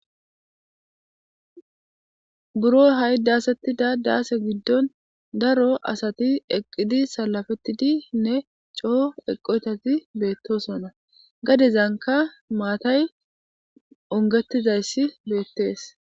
Buro ha7i daasettida daase giddon daro asati eqqidi salafettidinne coo eqotati beettosona. Gadezanka maatay ongetizayssi be7ettees.